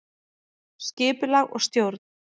Skipulag og stjórn